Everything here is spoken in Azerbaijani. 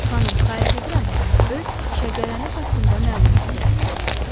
Xanım, xahiş edirəm, öz şəcərəniz haqqında məlumat verəsiz.